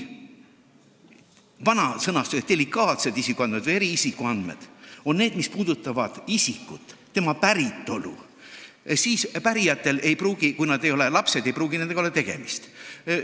Vana sõnastuse järgi delikaatsed isikuandmed või eriisikuandmed on need, mis puudutavad isikut, tema päritolu, ning pärijatel, kui nad ei ole lapsed, ei pruugi nendega tegemist olla.